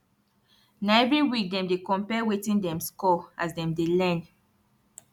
na every week dem dey compare wetin dem score as dem dey learn